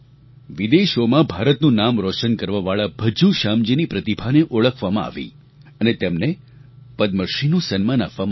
વિદેશોમાં ભારતનું નામ રોશન કરવાવાળા ભજ્જૂ શ્યામજી ની પ્રતિભાને ઓળખવામાં આવી અને તેમને પદ્મશ્રીનું સન્માન આપવામાં આવ્યું